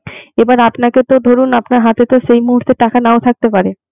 এবার আপনাকে তো ধরুন আপনার তো হাতে সেই মুহূর্তে টাকা নাও থাকতে পারে